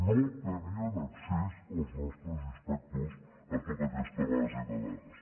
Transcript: no tenien accés els nostres inspectors a totes aquestes bases de dades